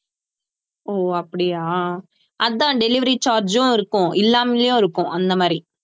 ஓ அப்படியா அது தான் delivery charge உம் இருக்கும் இல்லாமலும் இருக்கும் அந்த மாதிரி